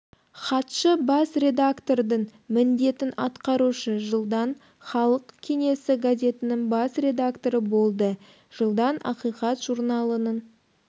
хатшы бас редактордың міндетін атқарушы жылдан халық кеңесі газетінің бас редакторы болды жылдан ақиқат журналының